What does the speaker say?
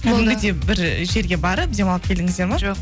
кәдімгідей бір жерге барып демалып келдіңіздер ма жоқ